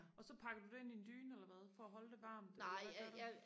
og så pakker du det ind i en dyne eller hvad for at holde det varmt eller hvad gør du